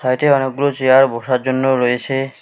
এটি অনেকগুলো চেয়ার বসার জন্য রয়েছে।